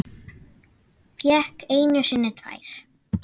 Fékk einu sinni tvær.